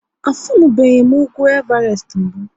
A funubeghi m ugwu Evarest mbụ?